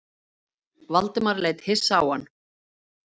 Valdimar leit hissa á hann.